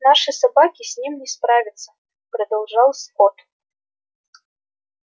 наши собаки с ним не справятся продолжал скотт